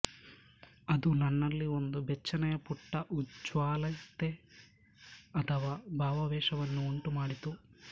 ಅದು ನನ್ನಲ್ಲಿ ಒಂದು ಬೆಚ್ಚನೆಯ ಪುಟ್ಟ ಉಜ್ವಲತೆ ಅಥವಾ ಭಾವಾವೇಶವನ್ನು ಉಂಟುಮಾಡಿತು